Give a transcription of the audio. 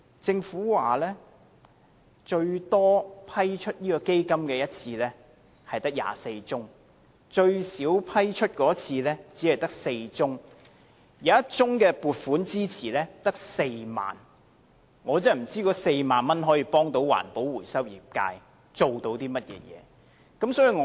政府指出，批出基金最多的一次是24宗，而批出最少的一次只有4宗，而有1宗撥款支持更只有4萬元，我不知道該4萬元可以給環保回收業界甚麼幫助。